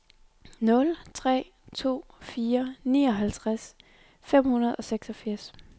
nul tre to fire nioghalvtreds fem hundrede og seksogfirs